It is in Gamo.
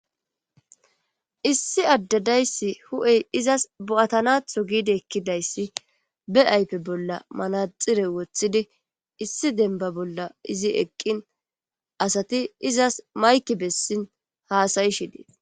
Issi addedayssi hu'ey izas bo'atanatho giidi ekkidayssi be ayfe bolla manaxire woththidi issi demba bolla izi eqqin asati izas mayki bessin haasayishi dees.